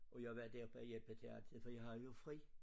Og jeg var der bare og hjælpe til altid for jeg havde jo fri